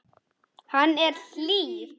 Hann er hlýr.